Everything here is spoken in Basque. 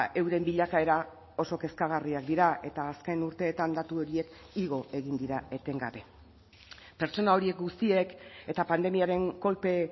euren bilakaera oso kezkagarriak dira eta azken urteetan datu horiek igo egin dira etengabe pertsona horiek guztiek eta pandemiaren kolpe